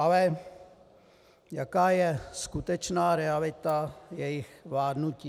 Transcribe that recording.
Ale jaká je skutečná realita jejich vládnutí?